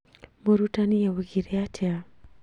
Mũrutani augire atĩa?